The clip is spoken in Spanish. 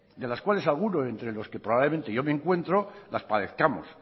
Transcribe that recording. de las cuales alguno entre los que probablemente yo me encuentro las padezcamos